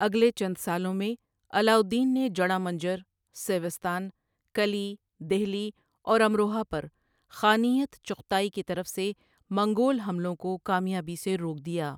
اگلے چند سالوں میں، علاء الدین نے جڑاں منجر، سیوستان، کلی، دہلی اور امروہہ پر خانیت چغتائی کی طرف سے منگول حملوں کو کامیابی سے روک دیا۔